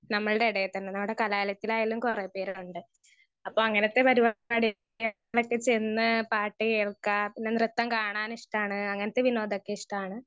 Speaker 1 നമ്മൾടെ എടേ തന്നെ നമ്മടെ കലാലയത്തിലായാലും കൊറേ പേരുണ്ട്. അപ്പൊ അങ്ങനത്തെ പരിപാടി കേരളത്തി ചെന്ന് പാട്ട് കേൾക്കാ പിന്നെ നൃത്തം കാണാൻ ഇഷ്ട്ടാണ് അങ്ങനത്തെ വിനോദൊക്കെ ഇഷ്ട്ടാണ്.